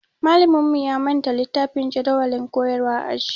Malaminmu ya manta littafin jadawalin koyarwa a aji